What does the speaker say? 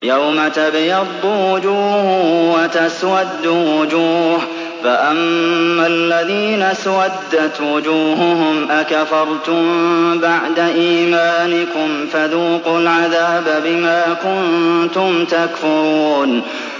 يَوْمَ تَبْيَضُّ وُجُوهٌ وَتَسْوَدُّ وُجُوهٌ ۚ فَأَمَّا الَّذِينَ اسْوَدَّتْ وُجُوهُهُمْ أَكَفَرْتُم بَعْدَ إِيمَانِكُمْ فَذُوقُوا الْعَذَابَ بِمَا كُنتُمْ تَكْفُرُونَ